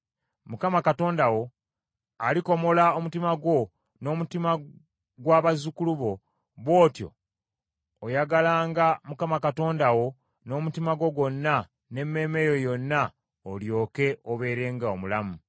Mukama Katonda wo alikomola omutima gwo, n’omutima gwa bazzukulu bo, bw’otyo oyagalanga Mukama Katonda wo n’omutima gwo gwonna, n’emmeeme yo yonna, olyoke obeerenga omulamu.